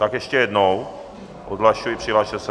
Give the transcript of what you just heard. Tak ještě jednou odhlašuji, přihlaste se.